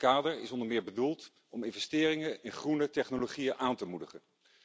Dit kader is onder meer bedoeld om investeringen in groene technologieën aan te moedigen.